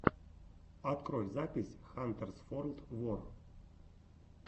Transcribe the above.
открой запись хантерс форлд вор